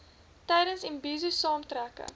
tydens imbizo saamtrekke